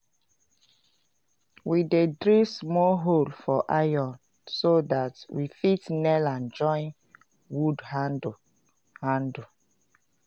we dey drill small hole for iron so dat we fit nail am join wood handle. handle.